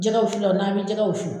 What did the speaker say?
Jɛgɛwuwulaw n'a bi jɛgɛ wusu.